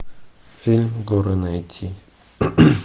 фильм горы найти